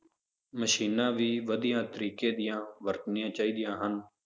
ਮਸ਼ੀਨਾਂ ਵੀ ਵਧੀਆ ਤਰੀਕੇ ਦੀਆਂ ਵਰਤਣੀਆਂ ਚਾਹੀਦੀਆਂ ਹਨ।